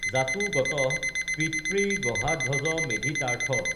জাতো গতঃ পিতৃগহাধ্বজমেধিতাৰ্থঃ